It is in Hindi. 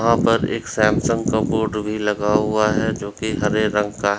वहां पर एक सैमसंग का बोर्ड भी लगा हुआ है जो कि हरे रंग का --